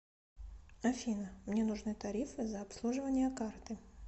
афина мне нужны тарифы за обслуживание карты